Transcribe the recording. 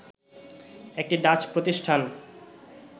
একটি ডাচ প্রতিষ্ঠান